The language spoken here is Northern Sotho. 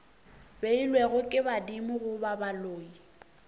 beilwego ke badimo goba baloi